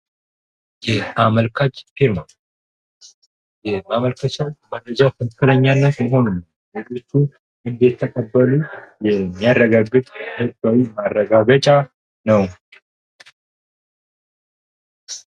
የአመልካች ፊርማ የአመልካችን መረጃ ትክክለኛ መሆኑን ድርጅቱ እንደተቀበሉን የሚያረጋግጥ ሕዝባዊ ማረጋገጫ ነው።